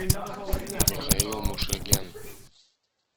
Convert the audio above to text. михаил мушаген